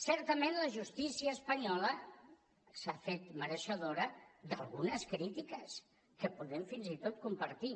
certament la justícia espanyola s’ha fet mereixedora d’algunes crítiques que podem fins i tot compartir